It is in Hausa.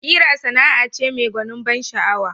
Ƙira Sana'a ce mai gwanin ban sha'awa